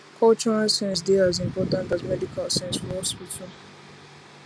cultural sense dey as important as medical sense for hospital